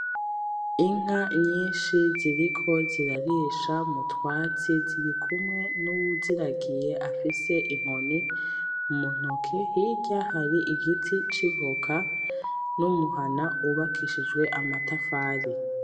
Inka nyinshi ziriko zirarisha mu twatsi, zirikumwe n'uwuziragiye afise inkoni mu ntoke, hirya hari igiti c'ivoka, n'umuhana wubakishijwe amatafari.